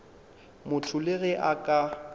motho le ge a ka